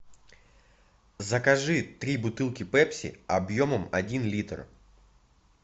закажи три бутылки пепси объемом один литр